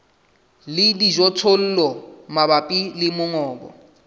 le dijothollo mabapi le mongobo